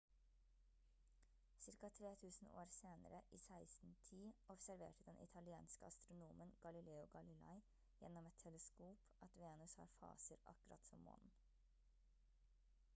ca 3000 år senere i 1610 observerte den italienske astronomen galileo galilei gjennom et teleskop at venus har faser akkurat som månen